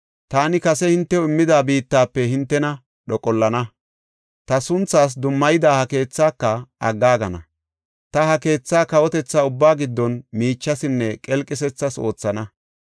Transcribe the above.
taani kase hintew immida biittafe hintena dhoqollana; ta sunthaas dummayida ha keethaaka aggaagana. Ta ha keethaa kawotetha ubbaa giddon miichasinne qelqisethas oothana.